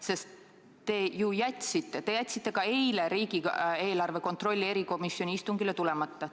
Sest te ju jätsite ka eile riigieelarve kontrolli erikomisjoni istungile tulemata.